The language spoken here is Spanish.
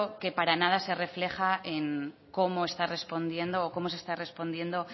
que para nada se refleja en cómo está respondiendo o cómo se está respondiendo